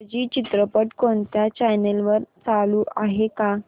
इंग्रजी चित्रपट कोणत्या चॅनल वर चालू आहे का